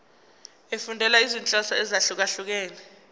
efundela izinhloso ezahlukehlukene